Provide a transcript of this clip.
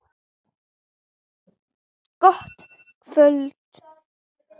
Gott kvöld!